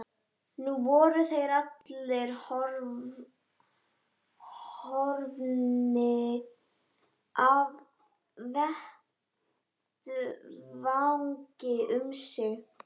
Nú voru þeir allir horfnir af vettvangi um sinn.